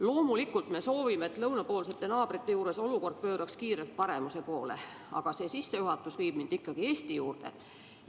Loomulikult me soovime, et olukord lõunapoolsete naabrite juures pööraks kiirelt paremuse poole, aga see sissejuhatus viib mind ikkagi Eesti seisu juurde.